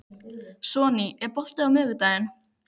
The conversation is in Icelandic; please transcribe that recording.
Sonný, er bolti á miðvikudaginn?